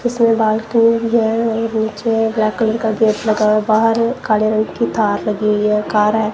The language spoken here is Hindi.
उसने बाल व्हीलचेयर ब्लैक कलर का गेट लगा हुआ है बाहर काले रंग की थार लगी हुए है कार है।